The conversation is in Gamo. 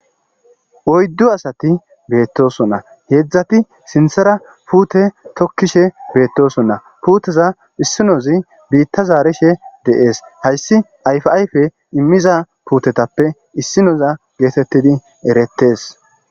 Oyddu asathi beeththoosona; heezathi sinththere puuthe thokkishe beeththoosona; puutheza issinoyze biiththa zaarishe de7ees; haysi ayfaaayfee immiza puuthethappe issinoza geetheththidi ereththees.